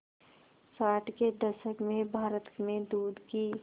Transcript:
साठ के दशक में भारत में दूध की